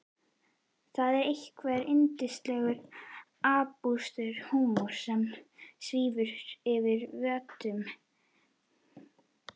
Það er einhver yndislegur absúrd-húmor sem svífur yfir vötnum.